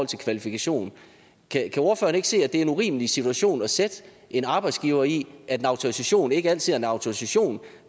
til kvalifikationer kan ordføreren ikke se at det er en urimelig situation at sætte en arbejdsgiver i at en autorisation ikke altid er en autorisation